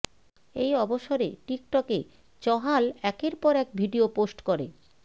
এই অবসরে টিকটকে চহাল একের পর এক ভিডিয়ো পোস্ট করে